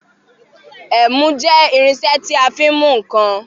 Ẹ̀mú jẹ́ irinṣẹ́ tí a fi ń mú ǹkan.